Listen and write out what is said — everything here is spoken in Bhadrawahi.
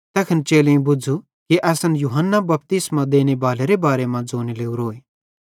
तैखन चेलेईं बुझ़ू कि असन सेइं यूहन्ना बपतिस्मो देनेबालेरे बारे मां ज़ोने लोरोए